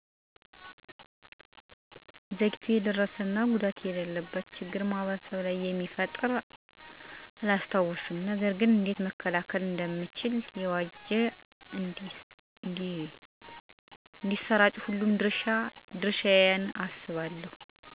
ዘግይቶ የደረሰ መሰጃ እና ጉዳት ወይም ችግር ማህበረሰቡ ላይ መፈጠሩን አላስታውስም። ነገር ገን እንዴት መከላከል እንችላለን? ለሚለው መረጃዎችን በአግባቡ እና ወቅቱን የዋጁ ሆነው እንዳሰራጩ ሁሉም ድረሻ አለበት ብዬ አስባለሁ። ሌላው መረጃውን ከማሰራጨታችን በፊት ለማህበረሰቡ የሚያደርሰው ጥቅም እና ጉዳት ሊተነተን ይገባል። ከዚህ በተጨማሪም መረጃውን የምናጋራ ማናቸውም ግለሰብ ምንጩን ማጣራት እና ጠይቆ መረዳት ይኖርብናል። እነዚህንና ሌሎችም ጥንቃቄዎች በማድረግ ማህበረሰቡን ከከፋ ግጭት እና የተሳሳተ መረጃ መጠበቅ እንችላለን።